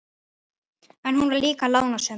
En hún var líka lánsöm.